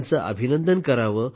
त्यांचे अभिनंदन करा